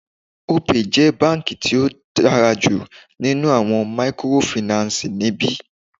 Opay jẹ́ báńkì tí ó dára jù nínú àwọn mikorofìnánsìì ní ibí.